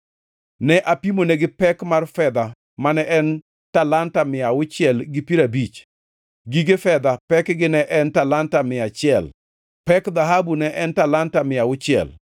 Ne apimonegi pek mar fedha mane en talanta mia auchiel gi piero abich, gige fedha pekgi ne en talanta mia achiel, pek dhahabu ne en talanta mia achiel,